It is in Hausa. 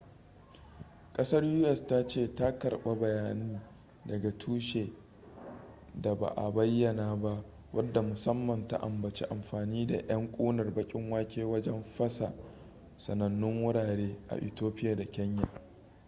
kasar u.s. ta ce ta karba bayani daga tushe da ba a bayyana ba wadda musamman ta ambaci amfani da yan kunar bakin wake wajen fasa sanannu wurare a ethiopia da kenya